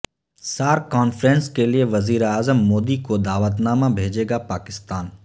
SAARC conference کے لئے وزیراعظم مودی کو دعوت نامہ بھیجے گا پاکستان